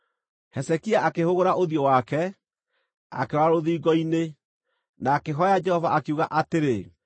Hezekia akĩhũgũra ũthiũ wake, akĩrora rũthingo-inĩ, na akĩhooya Jehova, akiuga atĩrĩ,